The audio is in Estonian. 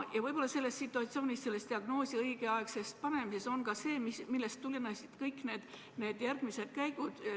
Ja võib-olla selles situatsioonis, selles diagnoosi õigeaegses panemises on ka see, millest tulenesid kõik need järgmised käigud.